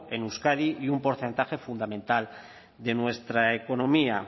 en euskadi y un porcentaje fundamental de nuestra economía